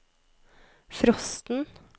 frosten